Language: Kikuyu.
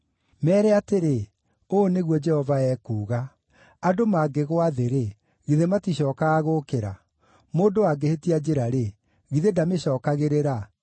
“Meere atĩrĩ, ‘Ũũ nĩguo Jehova ekuuga, “ ‘Andũ mangĩgũa thĩ-rĩ, githĩ maticookaga gũũkĩra? Mũndũ angĩhĩtia njĩra-rĩ, githĩ ndamĩcookagĩrĩra?